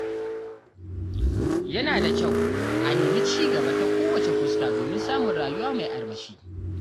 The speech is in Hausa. Yana da kyau a nemi ci gaba ta kowace fuska domin samun rayuwa mai armashi.